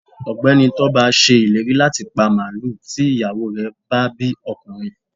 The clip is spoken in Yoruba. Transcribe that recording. ọgbẹni Toba sé ìlérí latí pá maluú tí iyawo re bá bí ọkunrín